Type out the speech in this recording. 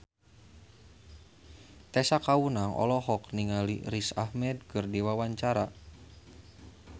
Tessa Kaunang olohok ningali Riz Ahmed keur diwawancara